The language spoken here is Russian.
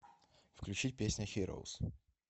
включить песня хироус